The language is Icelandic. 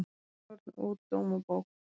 Sýnishorn úr Dómabók